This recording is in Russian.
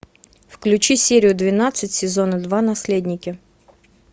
включи серию двенадцать сезона два наследники